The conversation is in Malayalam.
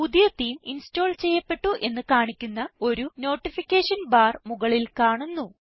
പുതിയ തേമെ ഇൻസ്റ്റോൾ ചെയ്യപ്പെട്ടു എന്ന് കാണിക്കുന്ന ഒരു നോട്ടിഫിക്കേഷൻ ബാർ മുകളിൽ കാണുന്നു